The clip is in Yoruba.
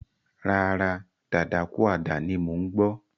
Rárá, dadakúàdà ni mò ń gbọ́.